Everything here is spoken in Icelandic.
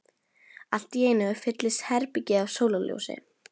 Allt í einu fyllist herbergið af sólarljósi.